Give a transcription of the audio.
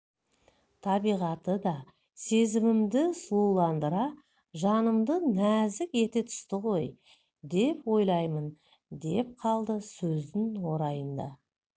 табиғаты да сезімімді сұлуландыра жанымды нәзік ете түсті ғой деп ойлаймын деп қалды сөздің орайында